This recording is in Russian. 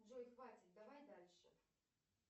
джой хватит давай дальше